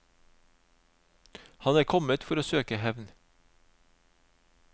Han er kommet for å søke hevn.